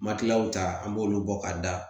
Makiyaw ta an b'olu bɔ ka da